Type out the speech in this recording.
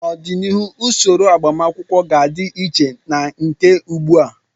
N'obianihu, usoro agbamakwụkwọ ga-adị iche na nke ugbu a.